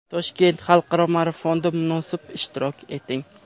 Toshkent xalqaro marafonida munosib ishtirok eting!.